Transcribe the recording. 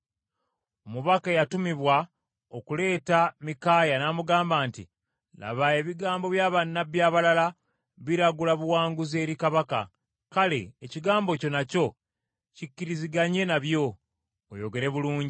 Omubaka eyatumibwa okuleeta Mikaaya n’amugamba nti, “Laba ebigambo bya bannabbi abalala biragula buwanguzi eri kabaka, kale ekigambo kyo nakyo kikkiriziganye nabyo, oyogere bulungi.”